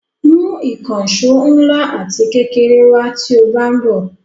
Mú ìkànṣó ńlá ati kékeré wá tí ó bá ń bò.